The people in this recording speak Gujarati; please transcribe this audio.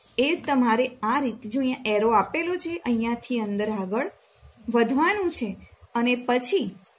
એ તમારે આ રીતે જો અહિયા Arrow આપેલો છે અહિયાથી અંદર આગળ વધવાનું છે અને પછી